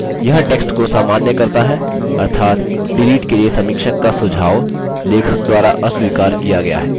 यह टेक्स्ट को सामान्य करता है अर्थात डिलीट के लिए समीक्षक का सुझाव लेखक द्वारा अस्वीकार किया गया है